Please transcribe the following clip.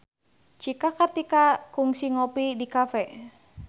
Cika Kartika kungsi ngopi di cafe